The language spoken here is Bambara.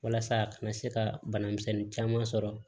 Walasa a kana se ka bana misɛnnin caman sɔrɔ